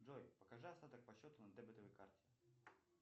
джой покажи остаток по счету на дебетовой карте